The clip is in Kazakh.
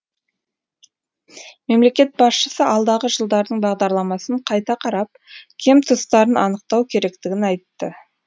мемлекет басшысы алдағы жылдардың бағдарламасын қайта қарап кем тұстарын анықтау керектігін айтты